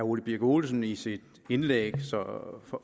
ole birk olesen i sit indlæg